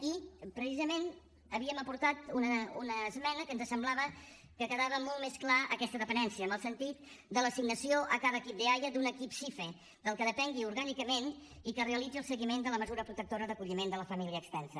i precisament havíem aportat una esmena amb què ens semblava que quedava molt més clara aquesta dependència en el sentit de l’assignació a cada equip d’eaia d’un equip sife del qual depengui orgànicament i que realitzi el seguiment de la mesura protectora d’acolliment de la família extensa